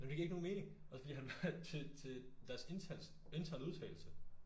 Men det giver ikke nogen mening! Også fordi han var til til deres interne interne udtagelse